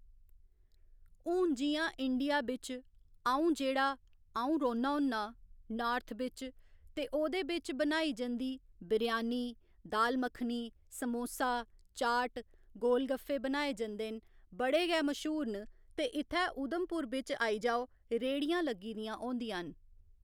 हुन जि'यां इंडिया बिच्च अ'ऊं जेह्‌ड़ा अ'ऊं रौह्‌न्नां होन्नां नार्थ बिच ते ओह्दे बिच बनाई जंदी बिरयानी, दाल मक्खनी, समोसा, चाट, गोल गफ्फे बनाए जंदे न बड़े गै मश्हूर न ते इत्थै उधमपुर बिच्च आई जाओ रेह्‌ड़ियां लगी दियां होदियां न